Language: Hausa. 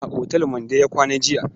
A otal Mande ya kwana jiya.